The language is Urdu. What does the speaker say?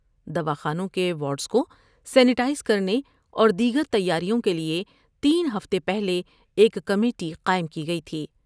دوا خانوں کے وارڈس کو سینیٹائز کر نے اور دیگر تیاریوں کیلئے تین ہفتے پہلے ایک کمیٹی قائم کی گئی تھی ۔